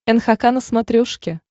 нхк на смотрешке